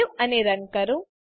save અને run કરો